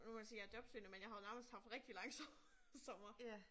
Nu kan man sige jeg jobsøgende men jeg har jo nærmest haft rigtig lang sommer